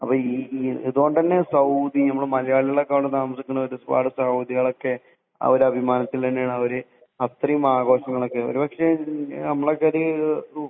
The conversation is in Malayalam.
അപ്പൊ ഇതുകൊണ്ട് തന്നെ സൗദി ഒരു അഭിമാനത്തിനു വേണ്ടിയാണ് അത്രയും ആഘോഷമൊക്കെ ഒരുപക്ഷെ അവർ നമ്മളെക്കാളും